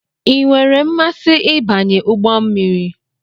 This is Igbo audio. I nwere mmasị ịbanye ụgbọ mmiri?